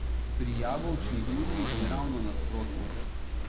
Pri jabolčni uri je ravno nasprotno.